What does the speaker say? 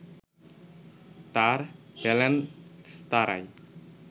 তার বেলেনস্তারায়